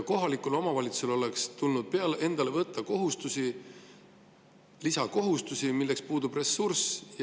Kohalikul omavalitsusel oleks tulnud enda peale võtta kohustusi, lisakohustusi, milleks tal puudub ressurss.